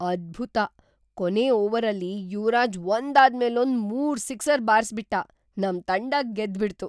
ಅದ್ಭುತ! ಕೊನೇ ಓವರಲ್ಲಿ ಯುವರಾಜ್ ಒಂದಾದ್ಮೇಲೊಂದು ಮೂರ್ ಸಿಕ್ಸರ್ ಬಾರ್ಸ್‌ಬಿಟ್ಟ, ನಮ್‌ ತಂಡ ಗೆದ್ಬಿಡ್ತು.